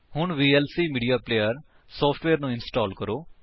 ਹੁਣ VLC media player software ਨੂੰ install ਕਰੋ